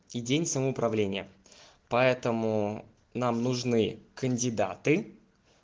и день самоуправления поэтому нам нужны кандидаты